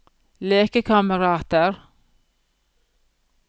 lekekamerater